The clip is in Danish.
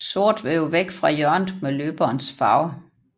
Sort vil jo væk fra hjørnet med løberens farve